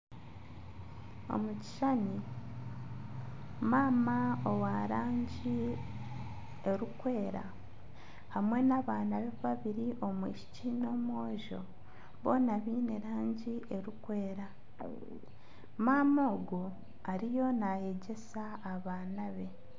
Omu kishushani, maama owa rangi erikwera hamwe na abaana be babiri omwishiki n'omwojo boona baine rangi eri kwera. Maama ogu ariyo nayegyesa abaana be.